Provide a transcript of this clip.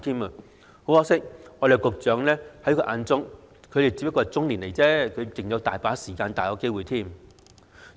很可惜，在局長眼中，他們仍然是中年，還有很多時間和機會。